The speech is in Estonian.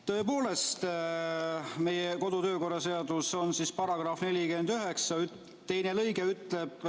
Tõepoolest, meie kodu- ja töökorra seaduse § 49 teine lõige ütleb ...